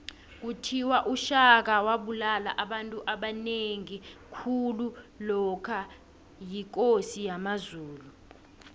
kuthiwa ushaka wabulala abantu abanengi khulu lokha yikosi yamazulu